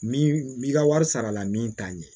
Min bi ka wari sara la min t'a ɲɛ